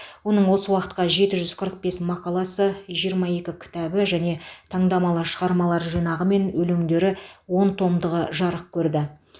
оның осы уақытқа жеті жүз қырық бес мақаласы жиырма екі кітабы және таңдамалы шығармалар жинағы мен өлеңдері он томдығы жарық көрді